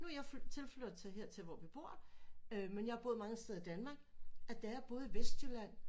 Nu er jeg flytter tilflytter her hvor vi bor men jeg har boet mange steder i Danmark at da jeg boede i Vestjylland